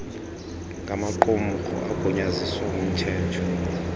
ngamaqumrhu agunyaziswe ngumthetho